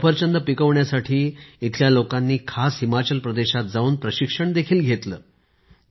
सफरचंद पिकवण्यासाठी इथल्या लोकांनी खास हिमाचल प्रदेशात जाऊन प्रशिक्षण देखील घेतले आहे